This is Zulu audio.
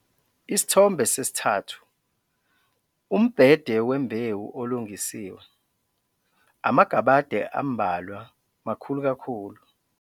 Isithombe 3- Umbhede wembewu olungisiwe - amagabade ambalwa makhulu kakhulu.